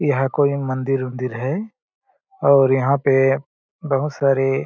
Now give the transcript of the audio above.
यह कोई मंदिर-उंदीर है और यहाँ पे बहुत सारे --